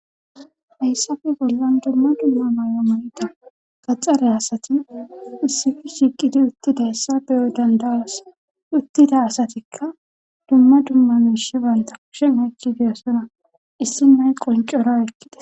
Hayssafe bollan dumma dumma may'o ma7ida gaxxare asati issifi shiqidi uttida assa beyo dandaas uttida asatikka dumma dumma miishi banta kishe meykkidisona issinnay qoncora ekkida.